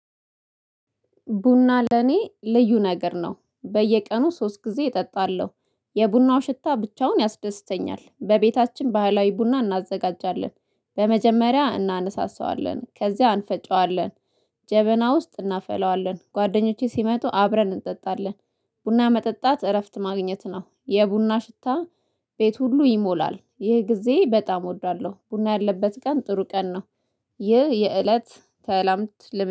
ቡና ለኔ ልዩ ነገር ነው በየቀኑ ሶስት ጊዜ እጠጣለሁ። የቡናው ሽታ ብቻውን ያስደስተኛል በቤታችን ባህላዊ ቡና እናዘጋጃለን። በመጀመሪያ እናነሳሳዋለን ከዚያ አንፈጨዋለን። ጀበና ውስጥ እናፈለዋለን ጓደኞቼ ሲመጡ አብረን እንጠጣለን። ቡና መጠጣት እረፍት ማግኘት ነው የቡና ሽታ። ቤቱ ሁሉ ይሞላል ይህ ጊዜ በጣም እወደዋለሁ ቡና ያለበት ቀን ጥሩ ቀን ነው። ይህ የእለት